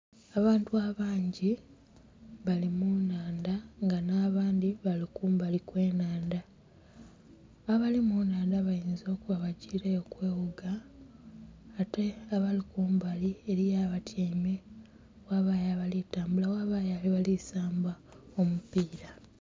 Abantu abangi bali mu nhandha nga nha bandhi bali kumbali kwe nhandha abali mu nhandha bayinza okuba bagiile kwewuga ate abali kumbali eriyo abatyaime, ghabayo abali tambula, ghabayo abali saamba omupira.